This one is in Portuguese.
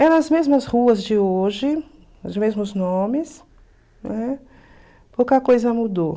Eram as mesmas ruas de hoje, os mesmos nomes, né, pouca coisa mudou.